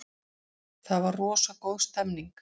Það var rosa góð stemning.